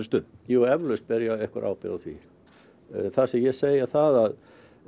stöðu jú eflaust ber ég einhverja ábyrgð á því það sem ég segi er að